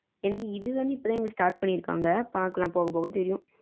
எனக்கு இது வந்து இப்போ தான் எங்களுக்கு start பண்ணி இருகாங்க பாக்கலாம் போக போக தெரியும்.